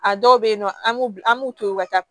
A dɔw be yen nɔ an b'u an b'u to yen u ka taa